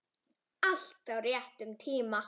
Allt á réttum tíma.